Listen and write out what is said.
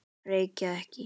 Reykja ekki.